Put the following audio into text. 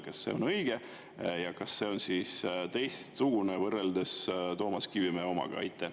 Kas see on õige ja kas see on teistsugune võrreldes Toomas Kivimäe omaga?